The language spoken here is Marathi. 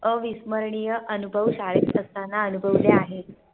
अविस्मरणीय अनुभव शाळेत असताना अनुभवले आहे